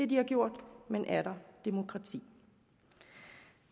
de har gjort men er der demokrati